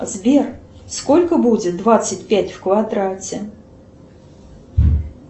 сбер сколько будет двадцать пять в квадрате